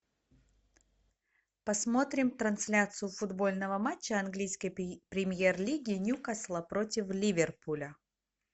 посмотрим трансляцию футбольного матча английской премьер лиги ньюкасла против ливерпуля